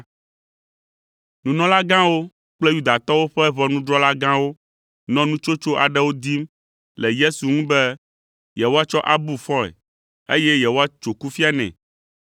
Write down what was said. Nunɔlagãwo kple Yudatɔwo ƒe ʋɔnudrɔ̃la gãwo nɔ nutsotso aɖewo dim le Yesu ŋu be yewoatsɔ abu fɔe eye yewoatso kufia nɛ,